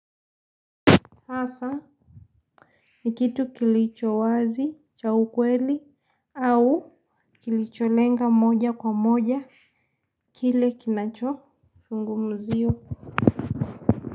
Hasa ni kitu kilichowazi cha ukweli au kilicholenga moja kwa moja kile kinachofungumuzio.